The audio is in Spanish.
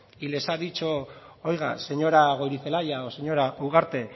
y les ha dicho oiga señora goirizelaia o señora ugarte